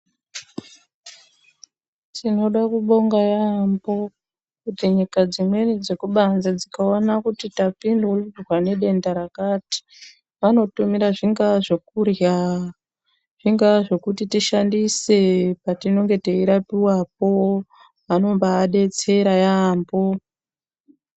Tinoda kubonga yambo kuti nyika dzimweni dzekubanze tikaona kuti tapindwa nedenda rakarati vanotumira zvingava zvekurya zvingava zvekuti tiahandise patinenge teirapiwa po vanenge veidetserapo.